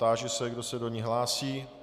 Táži se, kdo se do ní hlásí.